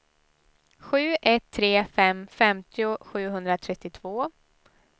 sju ett tre fem femtio sjuhundratrettiotvå